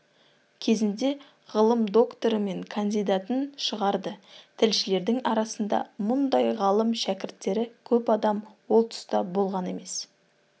кезінде ғылым докторы мен кандидатын шығарды тілшілердің арасында мұндай ғалым-шәкірттері көп адам ол тұста болған емес